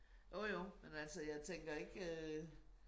Jo jo men altså jeg tænker ikke øh